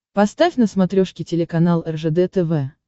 поставь на смотрешке телеканал ржд тв